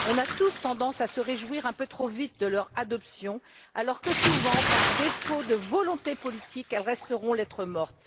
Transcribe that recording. On a tous tendance à se réjouir un peu trop vite de leur adoption, alors que, souvent, par défaut de volonté politique, elles resteront lettre morte.